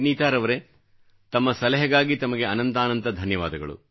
ವಿನೀತಾರವರೆ ತಮ್ಮ ಸಲಹೆಗಾಗಿ ತಮಗೆ ಅನಂತಾನಂತ ಧನ್ಯವಾದ